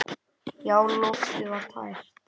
Já, loftið var tært.